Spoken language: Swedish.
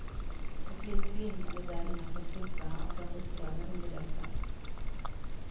Och lika glimrande där innanför suckarna och den uppdragna underläppen.